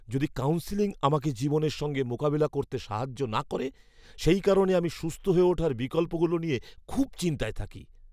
যদি কাউন্সেলিং আমাকে জীবনের সঙ্গে মোকাবিলা করতে সাহায্য না করে, সেই কারণে আমি সুস্থ হয়ে ওঠার বিকল্পগুলো নিয়ে খুব চিন্তায় থাকি।